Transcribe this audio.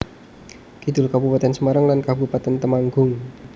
Kidul Kabupatèn Semarang lan Kabupatèn Temanggung